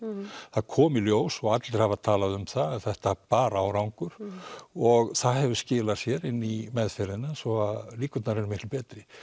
það kom í ljós og allir hafa talað um það að þetta bar árangur og það hefur skilað sér í meðferðina svo að líkurnar eru miklu betri